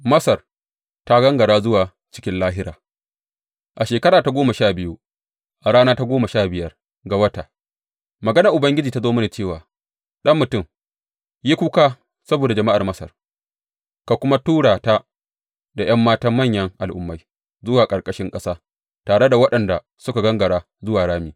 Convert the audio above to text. Masar ta Gangara zuwa Cikin Lahira A shekara ta goma sha biyu, a rana ta goma sha biyar ga wata, maganar Ubangiji ta zo mini cewa, Ɗan mutum, yi kuka saboda jama’ar Masar ka kuma tura ta da ’yan matan manyan al’ummai zuwa ƙarƙashin ƙasa, tare da waɗanda suka gangara zuwa rami.